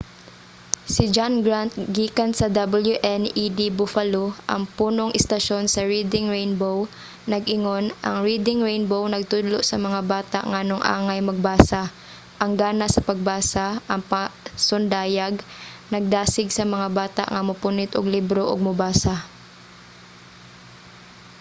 si john grant gikan sa wned buffalo ang punong istasyon sa reading rainbow nag-ingon ang reading rainbow nagtudlo sa mga bata nganong angay magbasa,... ang gana sa pagbasa — [ang pasundayag] nagdasig sa mga bata nga mopunit og libro ug mobasa.